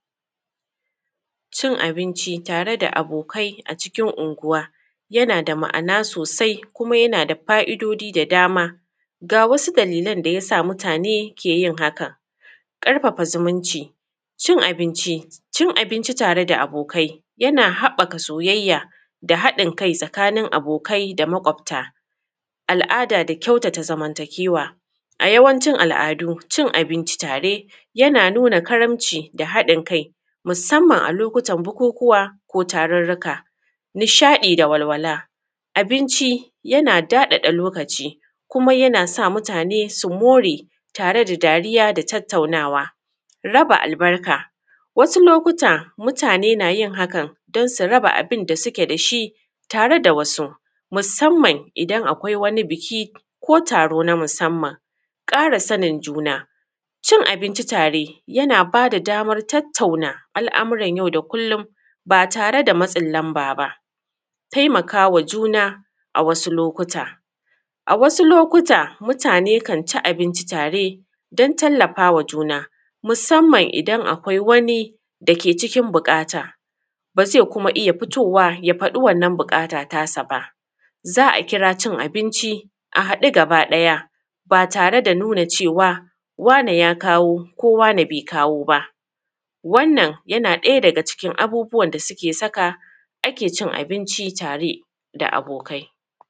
Cin abinci tare da abokai a cikin unguwa yana da ma'ana sosai kuma yana da fa'idodi da dama. Ga wasu dalilan da yasa mutane ke yin haka. ƙarfafa zumunci. Cin abinci tare da abokai yana haɓɓaka soyayya da haɗin kai tsakanin abokai da maƙwobta. Al’ada da kyautata zamantakewa a yawancin al’adu, cin abinci tare yana nuna karamci da haɗin kai musamman a lokutan bukukuwa, ko tarurruka. Nishaɗi da walwala, abinci yana daɗaɗa lokaci kuma yana sa mutane su more tare da dariya da tattaunawa. Raba albarka wasu lokutan mutane na yin hakan don su raba abun da suke das hi tare da wasu musamman idan akwai wani biki ko taro na musamman. Ƙara sanin juna, cin abinci tare yana ba da daman tattauna al’amuran yau da kullun ba tare da matsin lamba ba. Taimaka wa juna, a wasu lokutan a wasu lokutan mutane kanci abinci tare don tallafa ma juna musamman in akwai wani da ke cikin buƙata, ba zai iya fitowa ya faɗi wannan buƙata ta sa ba, za a kira cin abinci a haɗu gaba ɗaya ba tare da nuna cewa wane ya kawo ko wane bai kawo ba. Wannan yana ɗaya daga cikin abubuwan da suke saka ake cin abinci tare da abokai.